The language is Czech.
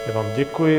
Já vám děkuji.